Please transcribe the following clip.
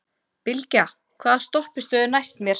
Bylgja, hvaða stoppistöð er næst mér?